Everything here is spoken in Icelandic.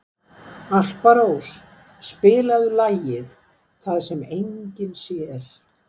Alparós, spilaðu lagið „Það sem enginn sér“.